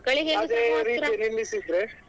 ಮಕ್ಕಳಿಗೆ ಹಾಗೆ ನಿಲ್ಲಿಸಿದ್ರೆ.